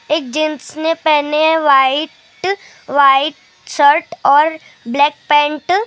एक जेंट्स ने पहने हैं व्हाइ ट व्हाइट शर्ट और ब्लैक पैंट ।